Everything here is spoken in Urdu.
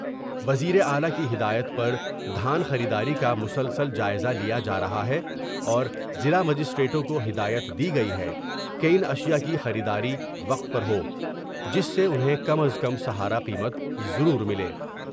وزیر اعلی کی ہدایت پر دھان خریداری کا مسلسل جائزہ لیا جا رہا ہے اور ضلع مجسٹریٹوں کو ہدایت دی گئی ہے کہ ان اشیاء کی خریداری وقت پر ہو ، جس سے انہیں کم از کم سہارا قیمت ضرور ملے ۔